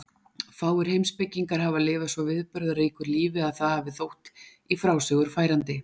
Fáir heimspekingar hafa lifað svo viðburðaríku lífi að það hafi þótt í frásögur færandi.